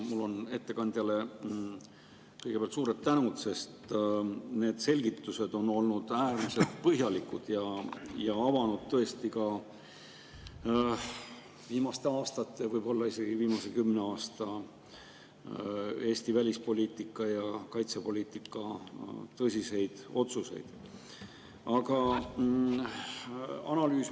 Ma ütlen ettekandjale kõigepealt suur tänu, sest selgitused on olnud äärmiselt põhjalikud ja avanud tõesti ka viimaste aastate, võib-olla isegi viimase kümne aasta Eesti välispoliitika ja kaitsepoliitika tõsiseid otsuseid.